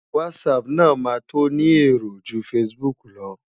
Whatsapp náà máa tó ni èrò ju Facebook lọ.